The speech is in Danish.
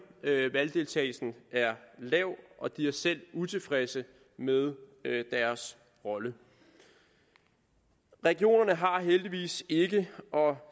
valgdeltagelsen er lav og de er selv utilfredse med deres rolle regionerne har heldigvis ikke og